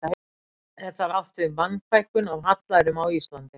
Er þar átt við Mannfækkun af hallærum á Íslandi.